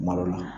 Malo la